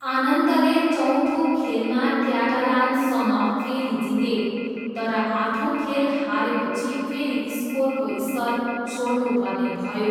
आनन्दले चौथो खेलमा क्याटालानसँग फेरि जिते तर आठौँ खेल हारेपछि फेरि स्कोरको स्तर छोड्नुपर्ने भयो।